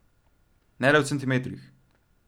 Ne le v centimetrih.